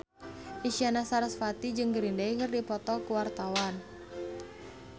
Isyana Sarasvati jeung Green Day keur dipoto ku wartawan